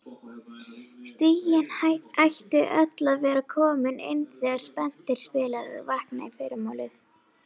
Stigin ættu öll að vera komin inn þegar spenntir spilarar vakna í fyrramálið.